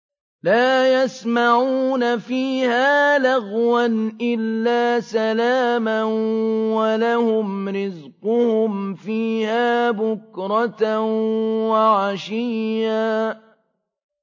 لَّا يَسْمَعُونَ فِيهَا لَغْوًا إِلَّا سَلَامًا ۖ وَلَهُمْ رِزْقُهُمْ فِيهَا بُكْرَةً وَعَشِيًّا